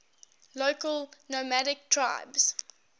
local nomadic tribes